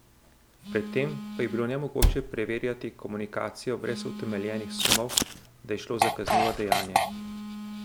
Pred tem pa je bilo nemogoče preverjati komunikacijo brez utemeljenih sumov, da je šlo za kaznivo dejanje.